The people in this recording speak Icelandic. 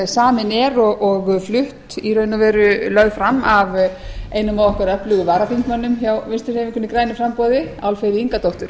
samin er og flutt í raun og veru lögð fram af einum af okkar öflugu varaþingmönnum hjá vinstri hreyfingunni grænu framboði álfheiði ingadóttur